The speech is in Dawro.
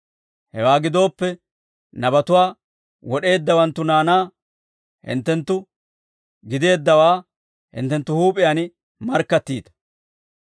Hewaa gidooppe, nabatuwaa wod'eeddawanttu naanaa hinttenttu gideeddawaa hinttenttu huup'iyaan markkattiita.